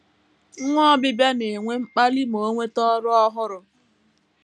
NWA Obibịa na - enwe mkpali ma o nweta ọrụ ọhụrụ.